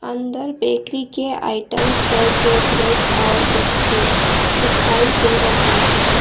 अंदर बेकरी के आइटम्स जैसे ब्रेड और बिस्किट दिखाई दे रहे हैं।